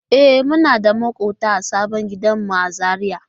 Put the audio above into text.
E, muna da maƙwabta a sabon gidanmu a Zariya.